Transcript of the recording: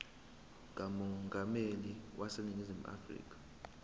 kamongameli waseningizimu afrika